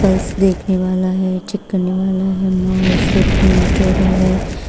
Pulse देखने वाला है चेक करने वाला है माउस है प्रिंटर है।